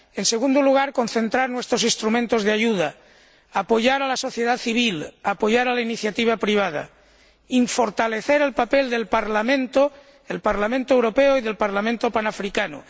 En segundo lugar, concentrar nuestros instrumentos de ayuda, apoyar a la sociedad civil, apoyar a la iniciativa privada y fortalecer el papel del Parlamento Europeo y del Parlamento Panafricano.